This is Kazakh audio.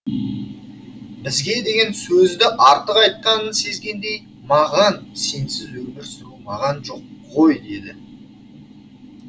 бізге деген сөзді артық айтқанын сезгендей маған сенсіз өмір сүру маған жоқ ғой деді